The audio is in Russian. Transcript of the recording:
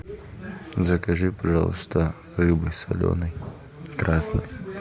закажи пожалуйста рыбы соленой красной